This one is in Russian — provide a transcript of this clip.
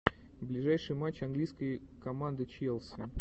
ближайшие матчи английской команды челси